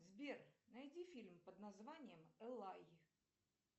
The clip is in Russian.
сбер найди фильм под названием элай